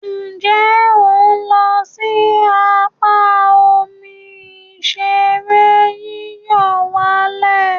Nje o n lo si apa omi ìṣeré yíyọ̀wálẹ̀?